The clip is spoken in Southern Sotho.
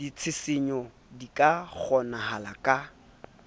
ditshisinyo di ka kgonahala ha